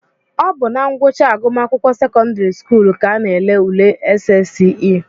Ọ bụ na ngwụcha agụmakwụkwọ sekọndịrị skuulu ka a na-ele ule SSCE